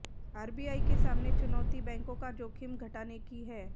RBI के सामने चुनौती बैंकों का जोखिम घटाने की है